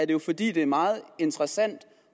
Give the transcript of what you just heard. jo fordi det er meget interessant